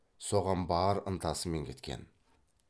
соған бар ынтасымен кеткен